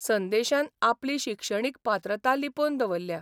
संदेशान आपली शिक्षणीक पात्रता लिपोवन दवरल्या.